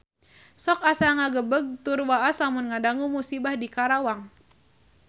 Sok asa ngagebeg tur waas lamun ngadangu musibah di Karawang